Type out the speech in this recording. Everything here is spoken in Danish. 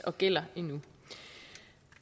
og gælder endnu